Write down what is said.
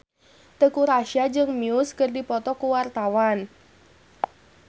Teuku Rassya jeung Muse keur dipoto ku wartawan